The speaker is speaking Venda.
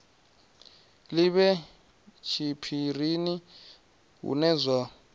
li vhe tshiphirini hune zwa